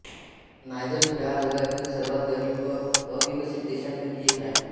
Niger हा जगातील सर्वांत गरीब व अविकसित देशांपैकी एक आहे